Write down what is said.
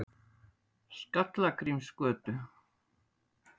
Skallagrímsgötu